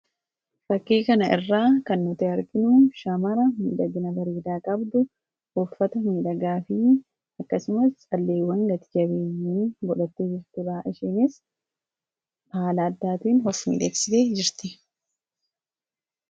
fakkii kana irraa kan hota arginuu shaamara miidagina bariidaa qabdu uuffata miidhagaafii akkasumas calleewwan gati jabeeyyi bodhattii jirturaa ishiinis bahalaaddaatiin hof mileessisee jirti